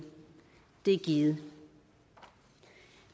det givet